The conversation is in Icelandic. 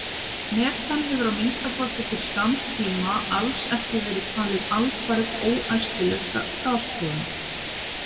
Metan hefur, að minnsta kosti til skamms tíma, alls ekki verið talið alfarið óæskileg gastegund.